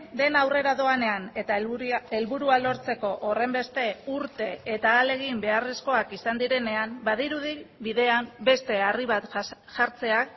dena aurrera doanean eta helburua lortzeko horrenbeste urte eta ahalegin beharrezkoak izan direnean badirudi bidean beste harri bat jartzea